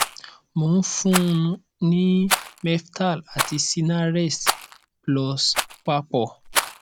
mò ń fún un ní meftal àti sinarest plus papọ